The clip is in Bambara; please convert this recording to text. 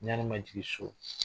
Ɲani man jigi so.